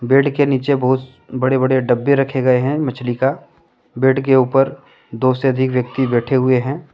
Bed के नीचे बहुत बड़े बड़े डब्बे रखे गए हैं मछली का बेड के ऊपर दो से अधिक व्यक्ति बैठे हुए हैं।